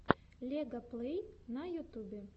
лега плэй на ютубе